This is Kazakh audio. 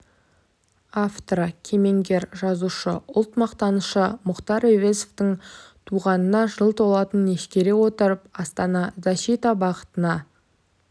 авторы кемеңгер жазушы ұлт мақтанышы мұхтар әуезовтің туғанына жыл толатынын ескере отырып астана защита бағытына